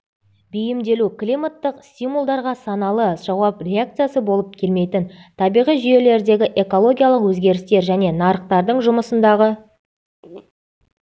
бейімделу климаттық стимулдарға саналы жауап реакциясы болып келмейтін табиғи жүйелердегі экологиялық өзгерістер және нарықтардың жұмысындағы